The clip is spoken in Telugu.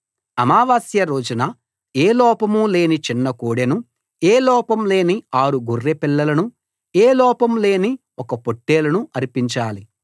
అమావాస్య రోజున ఏ లోపం లేని చిన్న కోడెను ఏ లోపం లేని ఆరు గొర్రె పిల్లలనూ ఏ లోపం లేని ఒక పొట్టేలును అర్పించాలి